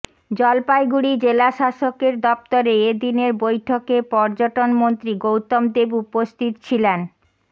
জলপাইগুড়ি জেলাশাসকের দফতরে এ দিনের বৈঠকে পর্যটন মন্ত্রী গৌতম দেব উপস্থিত ছিলেন